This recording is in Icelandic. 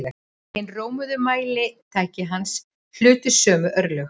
Hin rómuðu mælitæki hans hlutu sömu örlög.